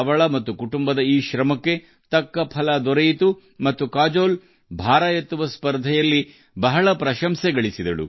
ಅವರ ಮತ್ತು ಅವರ ಕುಟುಂಬದವರ ಈ ಕಠಿಣ ಪರಿಶ್ರಮವು ಫಲ ನೀಡಿತು ಮತ್ತು ಕಾಜೋಲ್ ಭಾರ ಎತ್ತುಗೆಯಲ್ಲಿ ಸಾಕಷ್ಟು ಪ್ರಶಂಸೆಯನ್ನು ಗಳಿಸಿದ್ದಾರೆ